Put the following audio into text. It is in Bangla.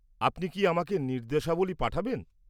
আপনি কি আমাকে নির্দেশাবলী পাঠাবেন?